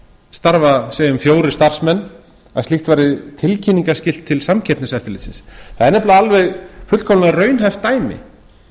segjum við fjórir starfsmenn að slíkt væri tilkynningarskyld til samkeppniseftirlitsins það er nefnilega alveg fullkomlega raunhæft dæmi